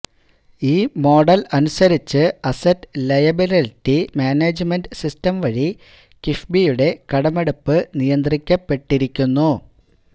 ഈ മോഡൽ അനുസരിച്ച് asset liability management system വഴി കിഫ്ബിയുടെ കടമെടുപ്പ് നിയന്ത്രിക്കപ്പെട്ടിരിക്കുന്നു